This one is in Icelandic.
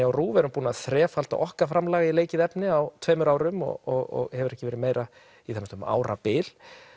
á RÚV erum búin að þrefalda okkar framlag í leikið efni á tveimur árum og hefur ekki verið meira um árabil